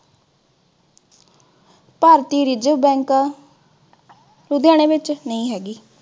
ਭਾਰਤੀ reserve bank ਲੁਧਿਆਣੇ ਵਿਚ, ਨਹੀ ਹੈਗੀ।